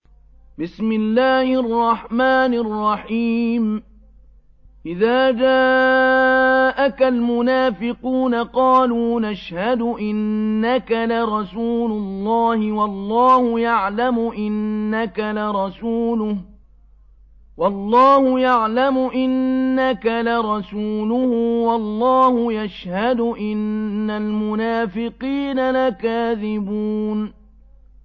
إِذَا جَاءَكَ الْمُنَافِقُونَ قَالُوا نَشْهَدُ إِنَّكَ لَرَسُولُ اللَّهِ ۗ وَاللَّهُ يَعْلَمُ إِنَّكَ لَرَسُولُهُ وَاللَّهُ يَشْهَدُ إِنَّ الْمُنَافِقِينَ لَكَاذِبُونَ